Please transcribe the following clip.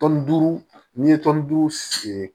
Tɔnni duuru n'i ye tɔni duuru sen